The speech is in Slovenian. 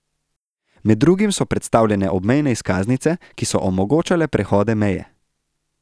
Med drugim so predstavljene obmejne izkaznice, ki so omogočale prehode meje.